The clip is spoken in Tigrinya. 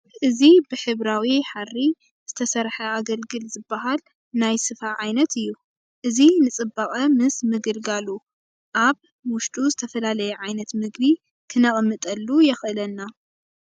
እዚ ብሕብራዊ ሓሪ ዝተሰርሐ ኣገልግል ዝብሃል ናይ ስፈ ዓይነት እዩ፡፡ እዚ ንፅባቐ ምስ ምግልጋሉ ኣብ ውሽጡ ዝተፈላለየ ዓይነት ምግቢ ክነቕምጠሉ የኽእለና፡፡